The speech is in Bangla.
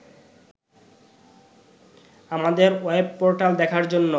আমাদের ওয়েবপোর্টাল দেখার জন্য